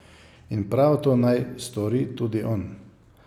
In prav to naj stori tudi on.